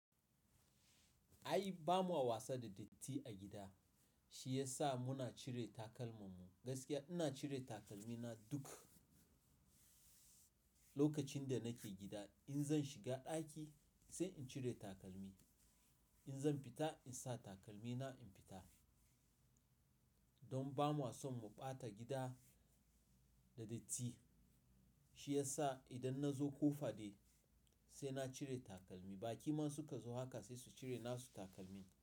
Ai ba mu a wasa da datti a gida, shi ya sa muna cire takalman mu. Gaskiya ina cire takalmi na duk lokacin da nake gida. In zan shiga ɗaki sai in cire takalmi, in zan fita in sa takalmi na in fita. Don ba mu a son mu ɓata gida da datti shi ya sa idan na zo ko faɗe sai na cire takalmi. Baƙi ma su ka zo haka sai su cire na su takalmi.